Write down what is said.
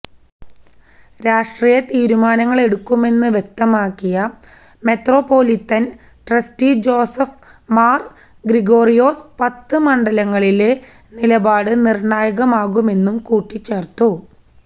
രാഷ്ട്രീയ തീരുമാനങ്ങളെടുക്കുമെന്ന് വ്യക്തമാക്കിയ മെത്രാപ്പൊലീത്തന് ട്രസ്റ്റി ജോസഫ് മാര് ഗ്രിഗോറിയോസ് പത്ത് മണ്ഡലങ്ങളിലെ നിലപാട് നിര്ണായകമാകുമെന്നും കൂട്ടിച്ചേര്ത്തു